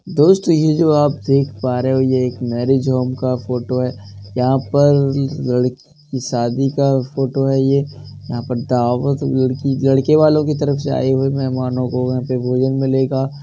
दोस्तों ये जो आप देख पा रहे हो ये एक मैरेज होम का फोटो है। यहाँ पर लड़की की शादी का फोटो है ये। यहाँ पर दावत लड़की लड़केवालों की तरफ से आये हुए मेहमानो को यहाँ पे भोजन मिलेगा।